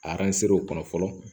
A o kɔnɔ fɔlɔ